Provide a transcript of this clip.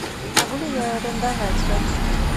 могу ли я арендовать зонтики